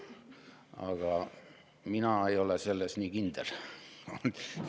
Aga mina ei ole selles nii kindel.